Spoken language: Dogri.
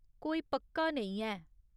कोई पक्का नेईं ऐ।